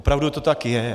Opravdu to tak je.